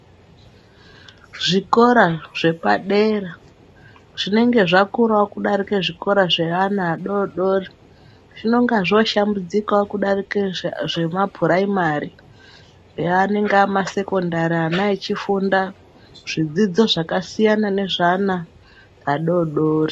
Zvikora zvepadera zvinenge zvakurawo kudarika zvikora zvevana vadodori zvinenge zvoshambudzikawo kudarika zvemapuraimari ava vanenge ava masekondari vana veifunda zvidzidzo zvakasiyana nezvevana vadodori.